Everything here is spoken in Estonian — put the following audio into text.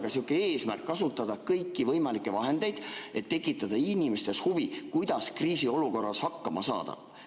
Võiks olla eesmärk kasutada kõiki võimalikke vahendeid, et tekitada inimestes huvi selle vastu, kuidas kriisiolukorras hakkama saada.